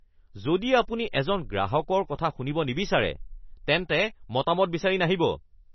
যদি আপুনি এজন গ্ৰাহকৰ কথা শুনিব নিবিচাৰে, তেন্তে মতামত বিচাৰি নাহিব (গ্ৰাহক)